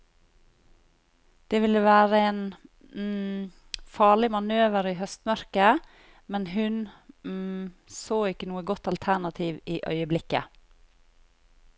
Det ville være en farlig manøver i høstmørket, men hun så ikke noe godt alternativ i øyeblikket.